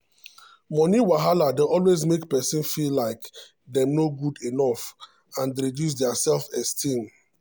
money wahala dey always make person feel like dem no good enough and reduce dia self-esteem.